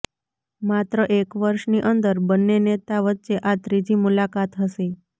માત્ર એક વર્ષની અંદર બંને નેતા વચ્ચે આ ત્રીજી મુલાકાત હશે